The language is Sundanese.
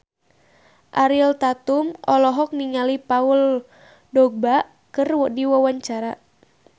Ariel Tatum olohok ningali Paul Dogba keur diwawancara